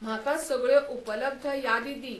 म्हाका सगळ्यो उपलब्ध यादी दी